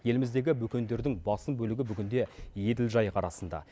еліміздегі бөкендердің басым бөлігі бүгінде еділ жайық арасында